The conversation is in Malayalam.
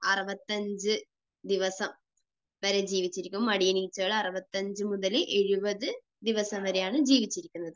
65 ദിവസം വരെ ജീവിച്ചിരിക്കും. മടിയനീച്ചകൾ 65 മുതൽ 70 ദിവസം വരെയാണ് ജീവിച്ചിരിക്കുന്നത്.